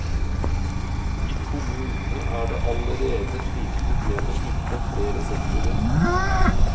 I kommunene er det allerede slike problemer innenfor flere sektorer.